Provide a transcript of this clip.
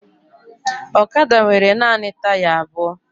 Ọkada nwere naanị taya abụọ